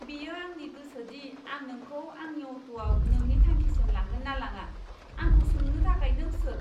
बेयो आंनि गोसो दि आं नोंखौ आंनि अट'आव नोंनि थांखिसिम लांगोन ना लाङा। आंखौ सोंनो थाखाय नों सोर?